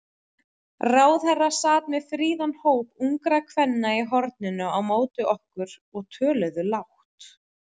Ráðherra sat með fríðan hóp ungra kvenna í horninu á móti okkur, og töluðu lágt.